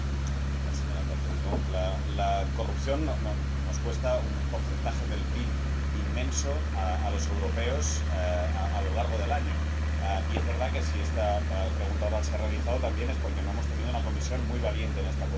Señora presidenta, la corrupción nos cuesta un porcentaje del PIB inmenso a los europeos a lo largo del año y es verdad que si esta pregunta oral se ha realizado también es porque no hemos tenido una Comisión muy valiente en esta cuestión.